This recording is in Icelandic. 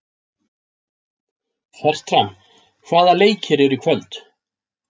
Fertram, hvaða leikir eru í kvöld?